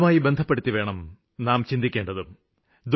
അതുമായി ബന്ധപ്പെടുത്തിവേണം നാം ചിന്തിക്കേണ്ടതും